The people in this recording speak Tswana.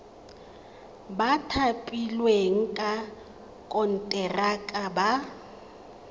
ba thapilweng ka konteraka ba